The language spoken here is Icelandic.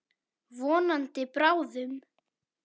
Vonandi bráðum.